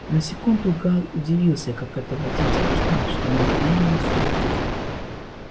на секунду гаал удивился как это водитель узнал что нужно именно сюда